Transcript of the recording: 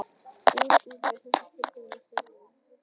Út, út með þessa tilfinningasemi: sameinast, umvefjast, elska.